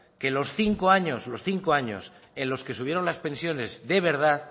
que los cinco años los cinco años en los que subieron las pensiones de verdad